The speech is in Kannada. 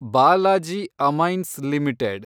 Balaji amines limited